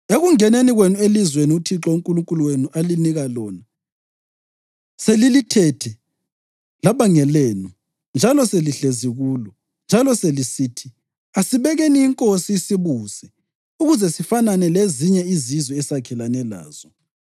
“Ekungeneni kwenu elizweni uThixo uNkulunkulu wenu alinika lona selilithethe laba ngelenu njalo selihlezi kulo, njalo selisithi, ‘Asibekeni inkosi isibuse ukuze sifanane lezinye izizwe esakhelene lazo,’